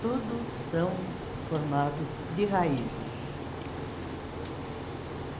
Tudo são formados de raízes.